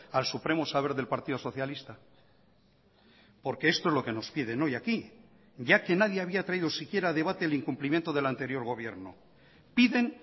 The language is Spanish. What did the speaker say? al supremo saber del partido socialista porque esto es lo que nos piden hoy aquí ya que nadie había traído siquiera a debate el incumplimiento del anterior gobierno piden